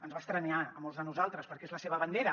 ens va estranyar a molts de nosaltres perquè és la seva bandera